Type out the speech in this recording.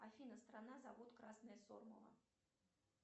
афина страна завод красное сормово